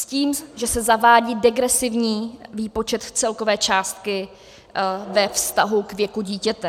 S tím, že se zavádí degresivní výpočet celkové částky ve vztahu k věku dítěte.